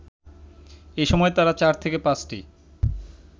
এসময় তারা ৪/৫টি